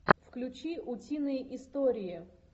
включи утиные истории